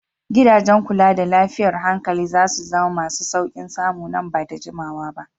Gidajen kula da lafiyar hankali za su zama masu sauƙin samu nan ba da jimawa ba.